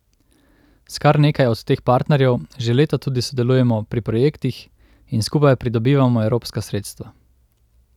S kar nekaj od teh partnerjev že leta tudi sodelujemo pri projektih in skupaj pridobivamo evropska sredstva.